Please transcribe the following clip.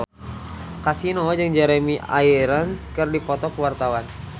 Kasino jeung Jeremy Irons keur dipoto ku wartawan